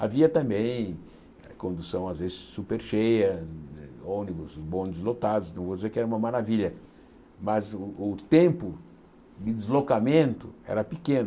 Havia também condução às vezes super cheia, ônibus, bônus lotados, não vou dizer que era uma maravilha, mas o o tempo de deslocamento era pequeno.